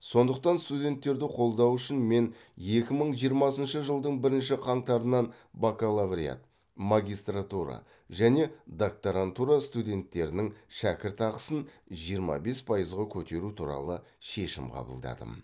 сондықтан студенттерді қолдау үшін мен екі мың жиырмасыншы жылдың бірінші қаңтарынан бакалавриат магистратура және докторантура студенттерінің шәкіртақысын жиырма бес пайызға көтеру туралы шешім қабылдадым